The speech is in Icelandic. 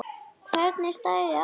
Hvernig stæði á þessu?